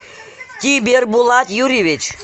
тибербулат юрьевич